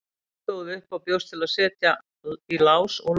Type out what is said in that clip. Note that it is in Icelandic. Stóð upp og bjóst til að setja í lás og loka.